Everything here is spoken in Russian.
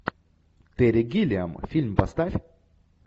терри гиллиам фильм поставь